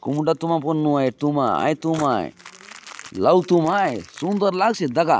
कुम्डा तुमा पने नुआय ये तुमा आय हाय तुमा आय लाउ तुमा आय सुन्दर लागसी आचे दखा --